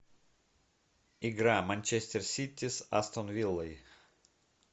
игра манчестер сити с астон виллой